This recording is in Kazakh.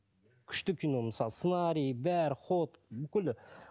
күшті кино мысалы сценарийі бәрі ход бүкіл